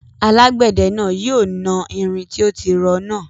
Alágbẹ̀dẹ náà yóò na irin tó tí rọ́ náà